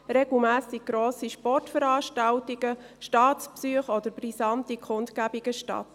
regelmässig finden grosse Sportveranstaltungen, Staatsbesuche oder brisante Kundgebungen statt.